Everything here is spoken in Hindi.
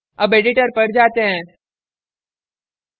अब editor पर जाते हैं